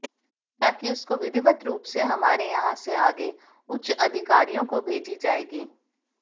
ताकि उसको विधिवत रूप से हमारे यहां से आगे उच्च अधिकारियो को भेजी जाएगी